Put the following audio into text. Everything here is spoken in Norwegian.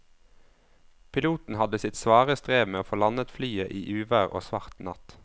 Piloten hadde sitt svare strev med å få landet flyet i uvær og svart natt.